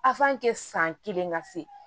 san kelen ka se